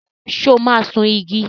So máa sun igi?